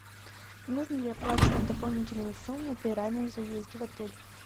нужно ли оплачивать дополнительную сумму при раннем заезде в отель